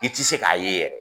I tɛ se k'a ye yɛrɛ